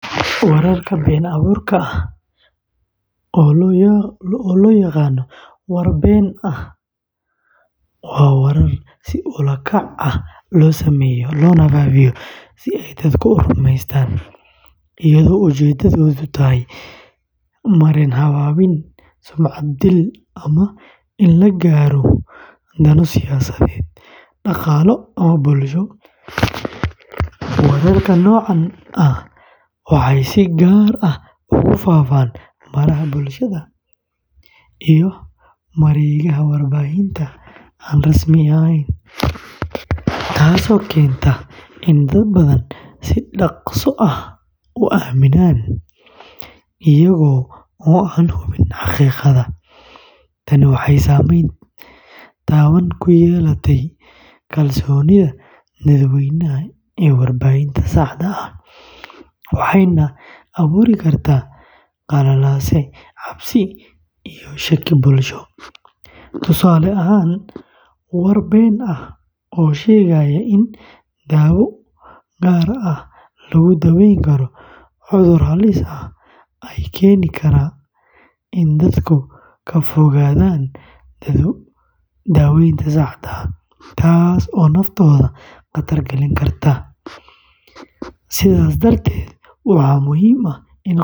Warka been abuurka ah, oo loo yaqaan "war been ah", waa warar si ula kac ah loo sameeyo loona faafiyo si ay dadku u rumaystaan, iyadoo ujeedadu tahay marin-habaabin, sumcad dil, ama in la gaaro dano siyaasadeed, dhaqaale, ama bulsho. Wararka noocan ah waxay si gaar ah ugu faafaan baraha bulshada iyo mareegaha warbaahinta aan rasmi ahayn, taasoo keenta in dad badan si dhakhso ah u aaminaan, iyaga oo aan hubin xaqiiqada jirta. Tani waxay saameyn taban ku yeelataa kalsoonida dadweynaha ee warbaahinta saxda ah, waxayna abuuri kartaa qalalaase, cabsi, iyo kala shaki bulsho. Tusaale ahaan, war been ah oo sheegaya in daawo gaar ah lagu daweyn karo cudur halis ah ayaa keeni kara in dadku ka fogaadaan daaweynta saxda ah, taasoo naftooda khatar gelin karta. Sidaas darteed, waxaa muhiim ah.